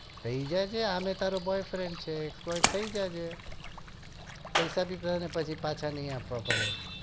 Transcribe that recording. થઇ જશે અમે તારો boy friend છે થઇ જશે પૈસા બી પછી નહી પાછા આપવા પડે